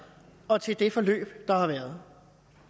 og til det forløb der har været